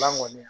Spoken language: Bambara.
Ban kɔni